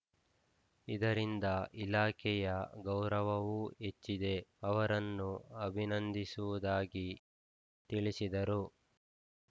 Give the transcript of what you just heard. ಇದರಿಂದ ಇಲಾಖೆಯ ಗೌರವವೂ ಹೆಚ್ಚಿದೆ ಅವರನ್ನು ಅಭಿನಂದಿಸುವುದಾಗಿ ತಿಳಿಸಿದರು